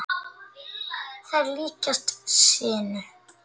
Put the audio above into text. Þær líkjast sinu.